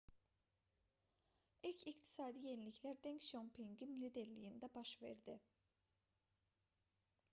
i̇lk iqtisadi yeniliklər denq şiaopinqin liderliyində baş verdi